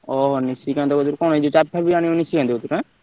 ଓଃ ନିସିକାନ୍ତ କଣ ଚାବି ଫାବି ଆଣିବ ଟା କତିରୁ ଆଁ?